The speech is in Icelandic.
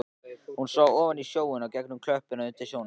Hún sá ofan í sjóinn og gegnum klöppina undir sjónum.